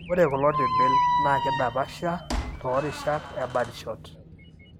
Ore kulo tibil naa keidapasha toorishat e birdshot.